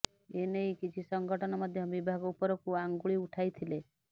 ଏନେଇ କିଛି ସଂଗଠନ ମଧ୍ୟ ବିଭାଗ ଉପରକୁ ଆଙ୍ଗୁଳି ଉଠାଇଥିଲେ